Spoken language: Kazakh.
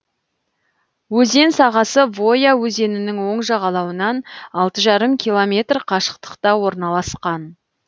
өзен сағасы воя өзенінің оң жағалауынан алты жарым километр қашықтықта орналасқан